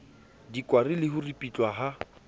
dikwari le ho ripitlwa ha